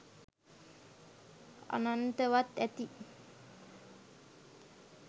අනන්තවත් ඇති!